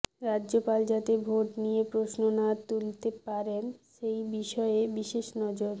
রাজ্যপাল যাতে ভোট নিয়ে প্রশ্ন না তুলতে পারেন সেই বিষয়ে বিশেষ নজর